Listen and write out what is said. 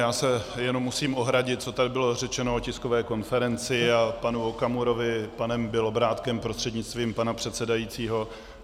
Já se jenom musím ohradit, co tady bylo řečeno o tiskové konferenci a panu Okamurovi panem Bělobrádkem prostřednictvím pana předsedajícího.